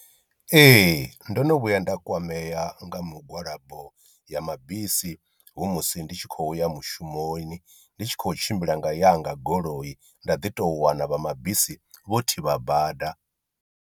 Ee ndo no vhuya nda kwamea nga mugwalabo ya mabisi hu musi ndi tshi khoya mushumoni ndi tshi khou tshimbila nga yanga goloi nda ḓi tou wana vha mabisi vho thivha bada.